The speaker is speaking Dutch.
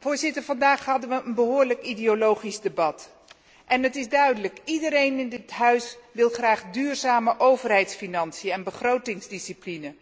Voorzitter, vandaag hadden we een behoorlijk ideologisch debat en het is duidelijk dat iedereen in dit Parlement graag duurzame overheidsfinanciën en begrotingsdiscipline wil,